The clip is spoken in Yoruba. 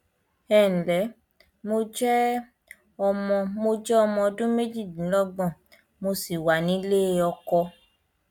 ẹǹlẹ mo jẹ ọmọ mo jẹ ọmọ ọdún méjìdínlọgbọn mo sì wà nílé ọkọ